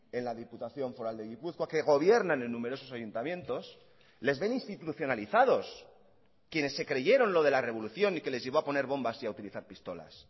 en la diputación foral de gipuzkoa que gobiernan en numerosos ayuntamientos les ven institucionalizados quienes se creyeron lo de la revolución y que les llevó a poner bombas y a utilizar pistolas